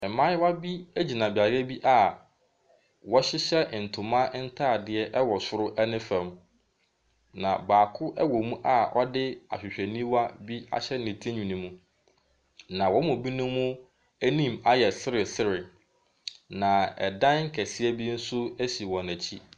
Mmayewa bi gyina beaeɛ bi a wɔhyehyɛ ntoma ntadeɛ wɔ soro ne fam, na baako wɔ mu a ɔde ahwehwɛniwa bi ahyɛ ne tirinwi no mu. Na wɔn mu binom anim ayɛ seresere, na dan kɛseɛ bi nso si wɔn akyi.